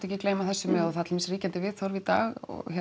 ekki gleyma þessu með og það dæmis ríkjandi viðhorf í dag